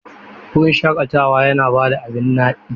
Wurin shakatawa yana da abin naɗi.